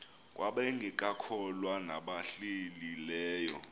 kwabangekakholwa nabahlehli leyo